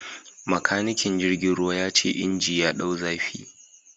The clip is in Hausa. Makanikin jirgin ruwa ya ce inji ya dau zafi